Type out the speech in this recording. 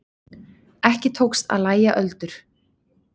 Ekki tókst að lægja öldur.